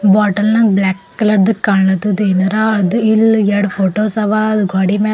ಬಾಟಲ್ನಾ ಗ್ ಬ್ಲಾಕ್ ಕಲರ್ದು ಕಾಣುತ್ತದೆ ಏನಾರಾ ಅದು ಇಲ್ ಎರಡು ಫೋಟೋಸ್ ಅವ ಗ್ವಾಡಿ ಮ್ಯಾಲ್ --